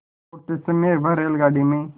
तो लौटते समय वह रेलगाडी में